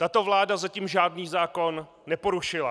Tato vláda zatím žádný zákon neporušila.